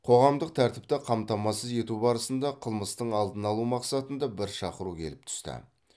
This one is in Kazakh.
қоғамдық тәртіпті қамтамасыз ету барысында қылмыстың алдын алу мақсатында бір шақыру келіп түсті